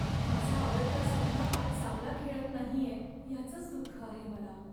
माझा आवडता संघ आज चांगला खेळत नाहीये याचंच दुःख आहे मला.